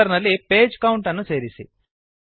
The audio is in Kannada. ಫುಟರ್ ನಲ್ಲಿ ಪೇಜ್ ಕೌಂಟ್ ಅನ್ನು ಸೇರಿಸಿ